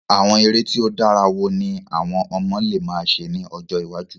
Àwon eré ti o dára wo ni àwon ọmọ le ma se ni ojọ́ iwájú?